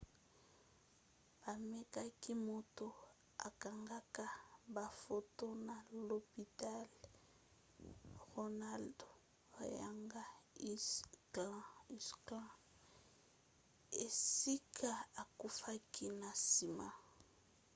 bamemaki moto akangaka bafoto na lopitalo ronald reagan ucla esika akufaki na nsima